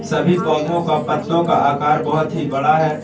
सभी पौधों का पत्तों का आकार बहुत ही बड़ा है।